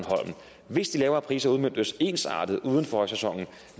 hvis de lavere priser udmøntes ensartet uden for højsæsonen